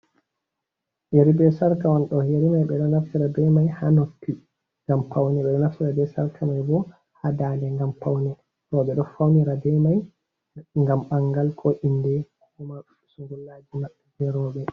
Yeri be sarka on ɗo yari mai ɓeɗo naftira be mai ha notti ngam paune, ɓe ɗo naftira be sarka mai bo ha dade gam paune roɓɓe ɗo faunira be mai gam bangal ko inde huma sungullaji maɓɓe ɓe roɓɓe.